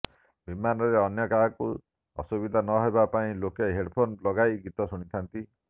ବିମାନରେ ଅନ୍ୟକାହାକୁ ଅସୁବିଧା ନ ହେବା ପାଇଁ ଲୋକେ ହୋଡ୍ ଫୋନ ଲଗାଇ ଗୀତ ଶୁଣିଥାନ୍ତି